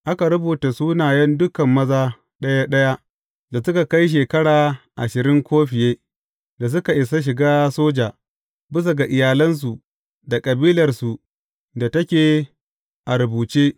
Aka rubuta sunayen dukan maza ɗaya ɗaya da suka kai shekara ashirin ko fiye da suka isa shiga soja, bisa ga iyalansu da kabilarsu da take a rubuce.